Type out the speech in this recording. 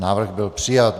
Návrh byl přijat.